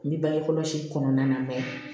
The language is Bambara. N bɛ bange kɔlɔsi kɔnɔna na